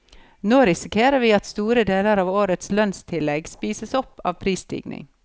Nå risikerer vi at store deler av årets lønnstillegg spises opp av prisstigning.